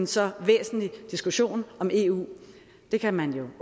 så væsentlig en diskussion om eu det kan man